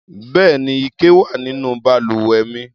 Bẹ́ẹ̀ni, ike wà nínú balùwẹ̀ mi.